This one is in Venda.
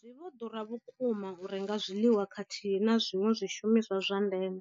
Zwi vho ḓura vhukuma u renga zwiḽiwa khathihi na zwiṅwe zwishumiswa zwa ndeme,